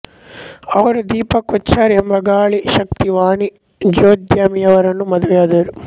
ಅವರು ದೀಪಕ್ ಕೊಚ್ಚಾರ್ ಎಂಬ ಗಾಳಿ ಶಕ್ತಿ ವಾಣಿಜ್ಯೋದ್ಯಮಿಯರನ್ನು ಮದುವೆಯಾದರು